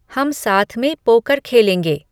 हम साथ में पोकर खेलेंगे